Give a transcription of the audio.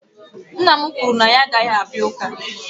nna m kwuru na ya agaghị abịa Ụka